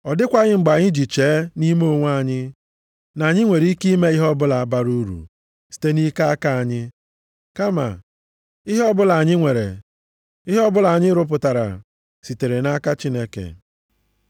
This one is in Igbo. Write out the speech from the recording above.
Ọ dịkwaghị mgbe anyị ji chee nʼime onwe anyị, na anyị nwere ike ime ihe ọbụla bara uru site nʼike aka anyị, kama ihe ọbụla anyị nwere, ihe ọbụla anyị rụpụtara, sitere nʼaka Chineke.